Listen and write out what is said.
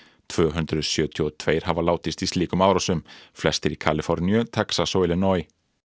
tvö hundruð sjötíu og tveir hafa látist í slíkum árásum flestir í Kaliforníu Texas og Illinois